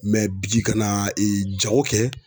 bi ka na jago kɛ.